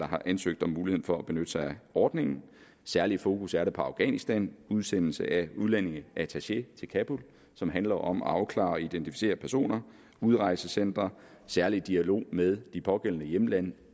har ansøgt om muligheden for at benytte sig af ordningen særligt fokus er der på afghanistan udsendelse af udlændingeattaché til kabul som handler om at afklare og identificere personer udrejsecentre særlig dialog med de pågældende hjemlande